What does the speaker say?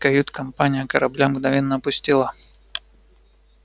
кают-компания корабля мгновенно опустела